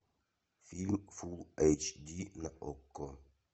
фильм фулл эйч ди на окко